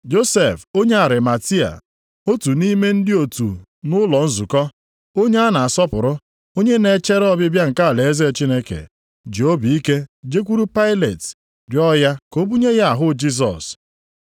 Josef onye Arimatia, otu nʼime ndị otu nʼụlọ nzukọ, onye a na-asọpụrụ, onye na-echere ọbịbịa nke alaeze Chineke, ji obi ike jekwuru Pailet rịọ ya ka o bunye ya ahụ Jisọs.